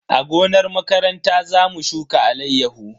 A gonar makaranta za mu shuka alayyahu.